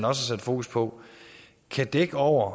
har sat fokus på kan dække over